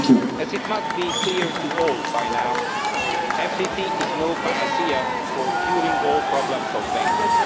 As it must be clear to all by now, the FTT is no panacea for curing all problems of banking.